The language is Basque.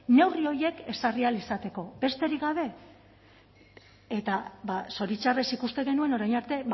neurri horiek ezarri ahal izateko besterik gabe eta zoritxarrez ikusten genuen orain arte